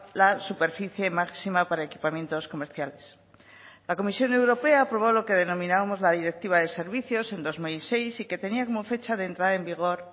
la superficie máxima para equipamientos comerciales la comisión europea aprobó lo que denominábamos la directiva de servicios en dos mil seis y que tenía como fecha de entrada en vigor